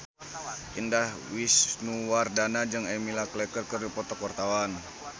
Indah Wisnuwardana jeung Emilia Clarke keur dipoto ku wartawan